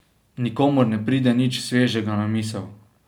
Nikomur ne pride nič svežega na misel.